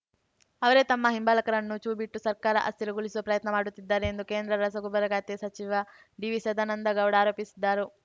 ಅವರೇ ತಮ್ಮ ಹಿಂಬಾಲಕರನ್ನು ಛೂ ಬಿಟ್ಟು ಸರ್ಕಾರ ಅಸ್ಥಿರಗೊಳಿಸುವ ಪ್ರಯತ್ನ ಮಾಡುತ್ತಿದ್ದಾರೆ ಎಂದು ಕೇಂದ್ರ ರಸಗೊಬ್ಬರ ಖಾತೆ ಸಚಿವ ಡಿವಿಸದಾನಂದ ಗೌಡ ಆರೋಪಿಸಿದ್ದರು